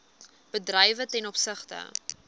bedrywe ten opsigte